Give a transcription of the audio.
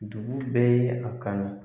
Dugu bɛɛ ye a kanu